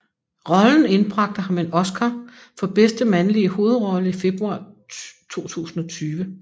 Rollen indbragte ham en Oscar for bedste mandlige hovedrolle i februar 2020